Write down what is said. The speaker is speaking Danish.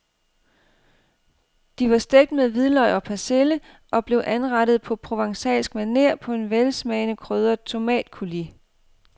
De var stegt med hvidløg og persille og blev anrettet på provencalsk maner på en velsmagende krydret tomatcoulis.